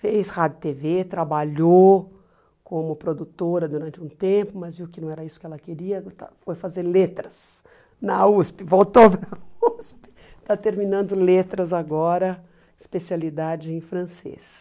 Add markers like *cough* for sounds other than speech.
fez rádio e tê vÊ, trabalhou como produtora durante um tempo, mas viu que não era isso que ela queria, foi fazer letras na USP, voltou para a USP, *laughs* está terminando letras agora, especialidade em francês.